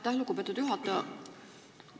Aitäh, lugupeetud juhataja!